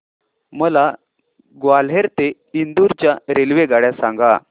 मला ग्वाल्हेर ते इंदूर च्या रेल्वेगाड्या सांगा